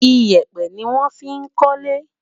iyepe ní wón fí kólé